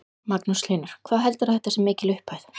Magnús Hlynur: Hvað heldurðu að þetta sé mikil upphæð?